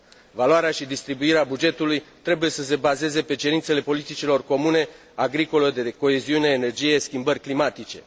Valoarea și distribuirea bugetului trebuie să se bazeze pe cerințele politicilor comune agricolă, de coeziune, energie, schimbări climatice.